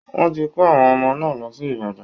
Wọ́n ti kó àwọn ọmọ náà lọ sí Ibadań